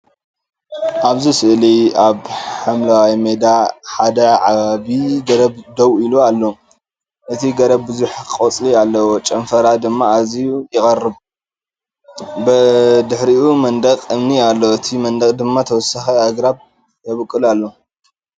ኣብዚ ስእሊ ኣብ ሓምላይ ሜዳ ሓደ ዓቢ ገረብ ደው ኢሉ ኣሎ። እቲ ገረብ ብዙሕ ቆጽሊ ኣለዎ፣ ጨናፍራ ድማ ኣዝዩ ይቐርብ። ብድሕሪኡ መንደቕ እምኒ ኣሎ። እቲ መንደቕ ድማ ተወሳኺ ኣግራብ ይበቁል ኣሎ።